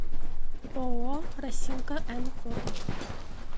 ооо росинка н фото